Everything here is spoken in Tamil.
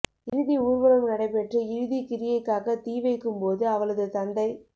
இறுதி ஊர்வலம் நடைபேற்று இறுதிக் கிரியைக்காக தீ வைக்கும் போது அவளது தந்தை